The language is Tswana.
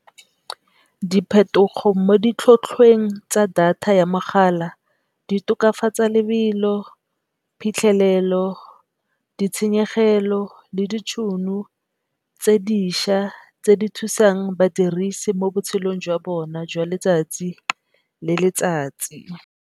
Diphetogo mo ditlhothlweng tsa data ya mogala di tokafatsa lebelo, phitlhelelo, ditshenyegelo le ditšhono tse dišwa tse di thusang badirisi mo botshelong jwa bona jwa letsatsi le letsatsi.